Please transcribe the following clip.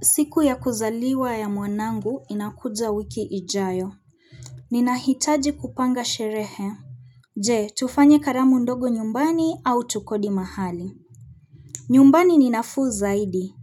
Siku ya kuzaliwa ya mwanangu inakuja wiki ijayo. Ninahitaji kupanga sherehe. Je, tufanye karamu ndogo nyumbani au tukodi mahali? Nyumbani ninafuu zaidi.